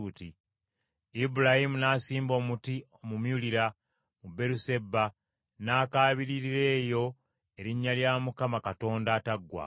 Ibulayimu n’asimba omuti omumyulimu mu Beeruseba n’akaabiririra eyo erinnya lya Mukama , Katonda Ataggwaawo.